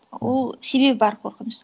ол себебі бар қорқыныш